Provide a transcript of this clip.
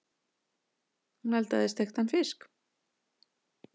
Hún eldaði steiktan fisk.